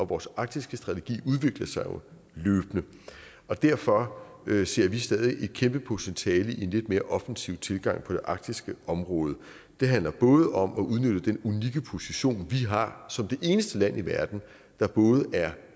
vores arktisstrategi udvikler sig jo løbende og derfor ser vi stadig et kæmpe potentiale i en lidt mere offensiv tilgang på det arktiske område det handler både om at udnytte den unikke position vi har som det eneste land i verden der både er